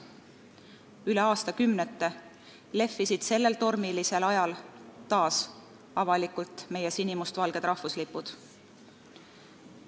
Üle aastakümnete lehvisid sellel tormisel ajal taas avalikult meie sinimustvalged rahvuslipud.